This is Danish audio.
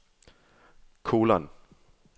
kolon